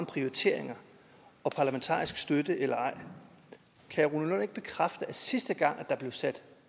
prioriteringer og parlamentarisk støtte eller ej kan herre ikke bekræfte at sidste gang der blev sat